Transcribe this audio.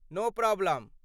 नो problem.